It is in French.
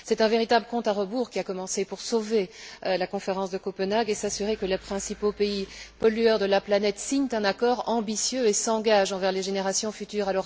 C'est un véritable compte à rebours qui a commencé pour sauver la conférence de Copenhague et s'assurer que les principaux pays pollueurs de la planète signent un accord ambitieux et s'engagent envers les générations futures.